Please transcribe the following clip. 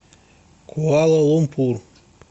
куала лумпур